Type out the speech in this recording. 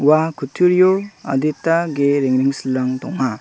ua kutturio adita ge rengrengsilrang donga.